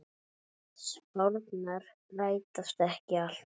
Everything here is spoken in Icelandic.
Spárnar rætast ekki alltaf.